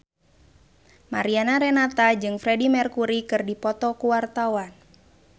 Mariana Renata jeung Freedie Mercury keur dipoto ku wartawan